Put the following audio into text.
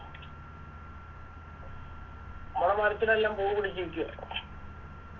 മ്മളെ മരത്തിലെല്ലാം പൂ പിടിച്ച് നിക്ക